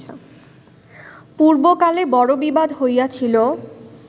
পূর্বকালে বড় বিবাদ হইয়াছিল